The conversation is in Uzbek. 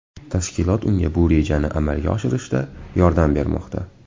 Tashkilot unga bu rejani amalga oshirishda yordam bermoqda.